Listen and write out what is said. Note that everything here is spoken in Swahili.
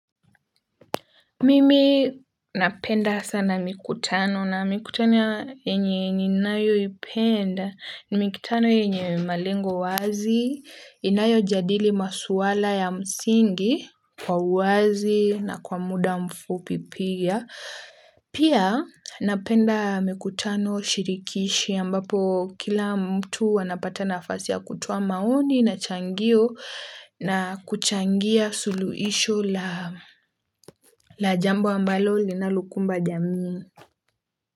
Mimi napenda sana mikutano na mikutano yenye ni nayoipenda ni mikutano yenye malengo wazi, inayo jadili maswala ya msingi, kwa uwazi na kwa muda mfupi pia. Pia napenda mikutano shirikishi ambapo kila mtu wanapata nafasi ya kutoa maoni na changio na kuchangia suluhisho la jambo ambalo linalokumba jamii.